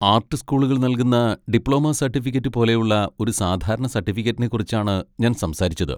Art സ്കൂളുകൾ നൽകുന്ന diploma certificate പോലെയുള്ള ഒരു സാധാരണ സർട്ടിഫിക്കറ്റിനെക്കുറിച്ചാണ് ഞാൻ സംസാരിച്ചത്.